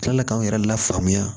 Kila k'anw yɛrɛ lafaamuya